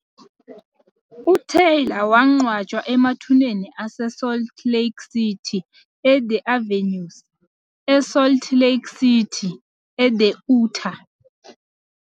UTaylor wangcwatshwa emathuneni aseSalt Lake City e- The Avenues, eSalt Lake City, e-Utah.